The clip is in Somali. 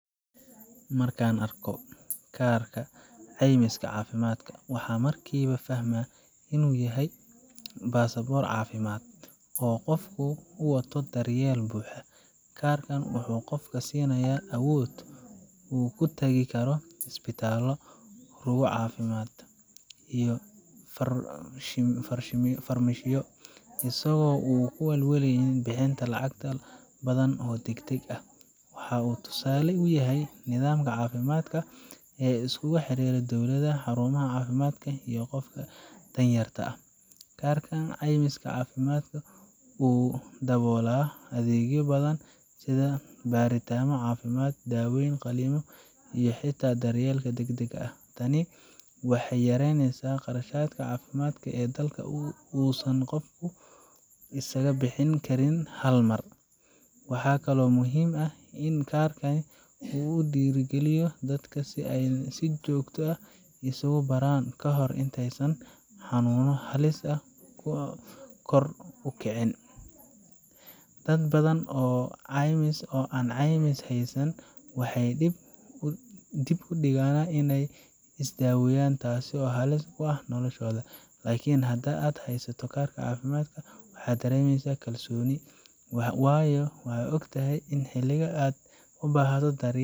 Markan arko kaarka ceymiska cafimadka waxan markiba fahma inu yahay baasaboor cafimad, oo qofka u wato daryel buxda karkan wuxu qofka sinaya awood uu kutagi isbitalo cafimad iyo farmashiyo isago aan u walwalen bihinta lacagta badan oo degdeg ah .Waxa uu tusale u yahay nidamka cafimadka ee iskugu xirira dadka danyarta ah ,karkan ceymiska cafimadka uu dabola adegyo badan sidha baritano cafimaad ,daweyn, qalino iyo hitaa adega degdega ah ,tani waxey yareynesa qarashadka cafimadka halka qofka uu isaga bixin karin hal mar. Waxa kale oo muhim ah in kar kan u dhiro geliyan ini dadka isagu baraan hal amr intey hanuno halis ah u kicin .Dad badan oo ceymis heysan waxey dib u dhigan iney is daweyan taso halis ku ah noloshoda. Lakin hadad heysato kaarka cafimadka waxad daremesa kalsoni wayo waxad ogtahay ini hiligaa aad u bahato uu karka.